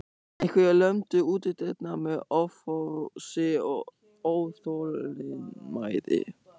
Einhverjir lömdu útidyrnar með offorsi og óþolinmæði.